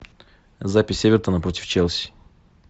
запись эвертона против челси